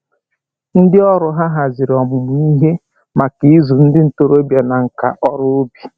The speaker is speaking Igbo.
Ndị ọrụ ha haziri ọmụmụ ihe maka ịzụ ndị ntoroọbịa na nka ọrụ ubi